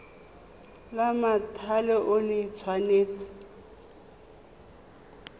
la mothale o le tshwanetse